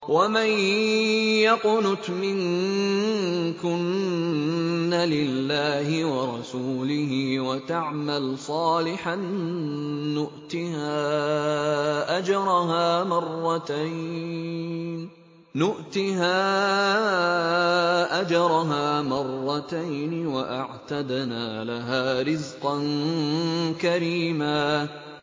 ۞ وَمَن يَقْنُتْ مِنكُنَّ لِلَّهِ وَرَسُولِهِ وَتَعْمَلْ صَالِحًا نُّؤْتِهَا أَجْرَهَا مَرَّتَيْنِ وَأَعْتَدْنَا لَهَا رِزْقًا كَرِيمًا